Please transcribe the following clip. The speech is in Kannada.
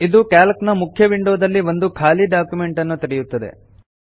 ಇದು ಕ್ಯಾಲ್ಕ್ ನ ಮುಖ್ಯ ವಿಂಡೋ ದಲ್ಲಿ ಒಂದು ಖಾಲಿ ಡಾಕ್ಯುಮೆಂಟ್ ಅನ್ನು ತೆರೆಯುತ್ತದೆ